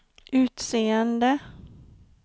utseende